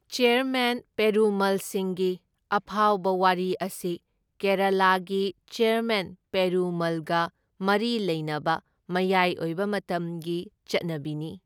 Chairman ꯄꯦꯔꯨꯃꯜꯁꯤꯡꯒꯤ ꯑꯐꯥꯎꯕ ꯋꯥꯔꯤ ꯑꯁꯤ ꯀꯦꯔꯥꯂꯥꯒꯤ ꯆꯦꯔꯃꯦꯟ ꯄꯦꯔꯨꯃꯜꯒ ꯃꯔꯤ ꯂꯩꯅꯕ ꯃꯌꯥꯏ ꯑꯣꯏꯕ ꯃꯇꯝꯒꯤ ꯆꯠꯅꯕꯤꯅꯤ꯫